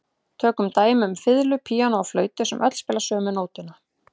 Tökum dæmi um fiðlu, píanó og flautu sem öll spila sömu nótuna.